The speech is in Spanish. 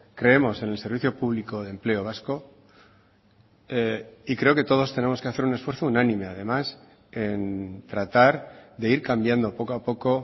creemos en el servicio público de empleo vasco y creo que todos tenemos que hacer un esfuerzo unánime además en tratar de ir cambiando poco a poco